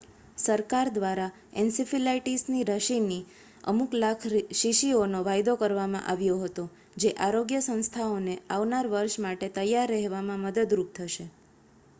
સરકાર દ્વારા એનસીફીલાઇટીસ રસીની અમુક લાખ શીશીઓનો વાયદો કરવામાં આવ્યો હતો જે આરોગ્ય સંસ્થાઓને આવનાર વર્ષ માટે તૈયાર રહેવામાં મદદરૂપ થશે